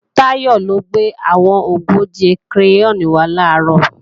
Táyọ̀ ló gbé àwọn ogóje kireyọ́ọ̀nì wá làárọ̀